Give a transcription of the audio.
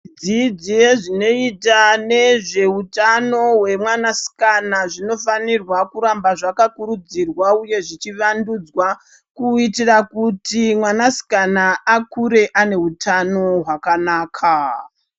Dzidzo yezvinoita nezveutano yemwanasikana, zvinofanirwa kuramba zvakakurudzirwa uye zvichivandudzwa, kuitira kuti mwanasikana akure ane hutano hwakanaka.